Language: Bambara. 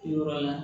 Yɔrɔ la